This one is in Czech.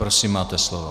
Prosím, máte slovo.